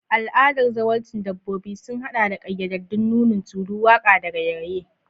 Al'adar zawarcin dabbobi sun haɗa da ƙayyadaddun nunin tulu, waƙa, da raye-raye.